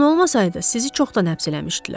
Taun olmasaydı sizi çoxdan həbs eləmişdilər.